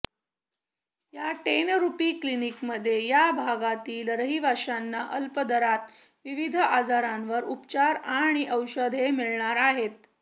या ten rupee क्लिनिकमध्ये या भागातील रहिवाशांना अल्पदरात विविध आजारांवर उपचार आणि औषधे मिळणार आहेत